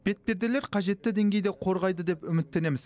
бетперделер қажетті деңгейде қорғайды деп үміттенеміз